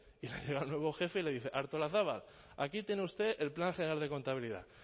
y llega el nuevo jefe y le dice artolazabal aquí tiene usted el plan general de contabilidad